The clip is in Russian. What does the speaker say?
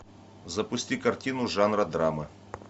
запусти картину жанра драма